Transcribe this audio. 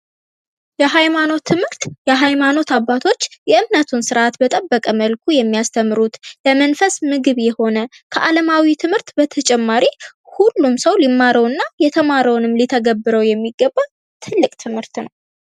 የሃይማኖት ትምህርት የሃይማኖት አባቶች የእምነቱን ስርዓት በጠበቀ መልኩ የሚያስተምሩት ፥ ለመንፈስ ምግብ የሆነ ፥ ከአለማዊ ትምህርት በተጨማሪ ሁሉም ሰው ሊማረው እና የተማረውንም ሊተገብረው የሚገባ ትልቅ ትምህርት ነው።